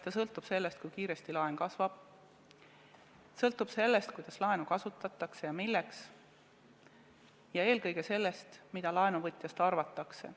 See sõltub sellest, kui kiiresti laen kasvab, sõltub sellest, kuidas, milleks laenu kasutatakse, eelkõige aga sellest, mida laenuvõtjast arvatakse.